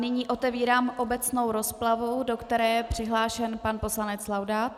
Nyní otevírám obecnou rozpravu, do které je přihlášen pan poslanec Laudát.